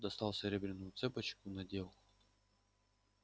достал серебряную цепочку надел